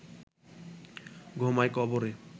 ঘুমায় কবরে